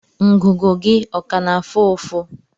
Ngụgụ gị ọ ka na-afụ ụfụ?